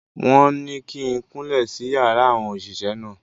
Wọ́n ní kí n kúnlẹ̀ sí yàrá àwọn òṣìṣẹ́ náà.